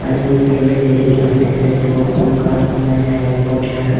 പല വിധത്തിലുള്ള ചെടികൾ നട്ടിട്ടുണ്ട് ചോപ്പും കറപ്പുമായ ഹാങിങ് പോട്ടിലാണ് .